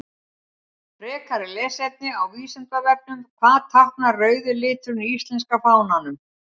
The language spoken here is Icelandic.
Frekara lesefni á Vísindavefnum: Hvað táknar rauði liturinn í íslenska fánanum?